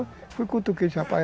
Eu fui cutuquei, rapaz.